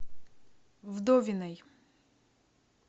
вдовиной